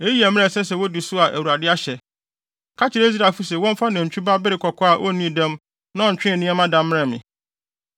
“Eyi yɛ mmara a ɛsɛ sɛ wodi so a Awurade ahyɛ: Ka kyerɛ Israelfo se wɔmfa nantwi ba bere kɔkɔɔ a onnii dɛm na ɔntwee nneɛma da mmrɛ me.